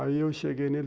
Aí, eu cheguei nele...